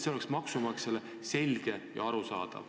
See oleks maksumaksjale selge ja arusaadav.